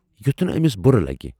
یُتھ نہٕ ٲمِس بُرٕ لگہِ۔